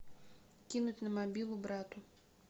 кинуть на мобилу брату